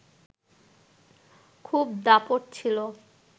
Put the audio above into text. খুব দাপট ছিল